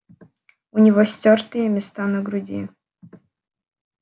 у него стёртые места на груди